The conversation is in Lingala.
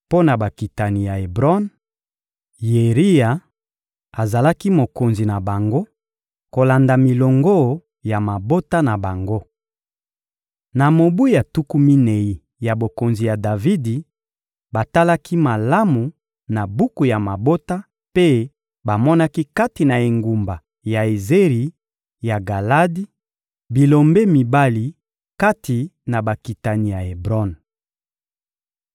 Mpo na bakitani ya Ebron: Yeriya azalaki mokonzi na bango, kolanda milongo ya mabota na bango. Na mobu ya tuku minei ya bokonzi ya Davidi, batalaki malamu na buku ya mabota mpe bamonaki kati na engumba Yaezeri ya Galadi, bilombe mibali kati na bakitani ya Ebron.